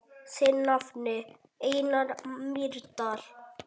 Þinn nafni, Einar Mýrdal.